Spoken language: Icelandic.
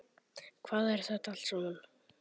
Hvað er þetta allt saman?